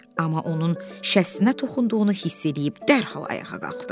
Amma onun şəssinə toxunduğunu hiss eləyib dərhal ayağa qalxdı.